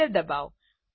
enter ડબાઓ